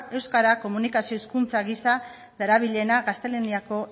euskara komunikazio hizkuntza gisa darabilena gaztelaniako